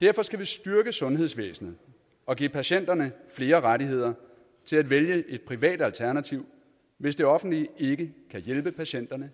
derfor skal vi styrke sundhedsvæsenet og give patienterne flere rettigheder til at vælge et privat alternativ hvis det offentlige ikke kan hjælpe patienterne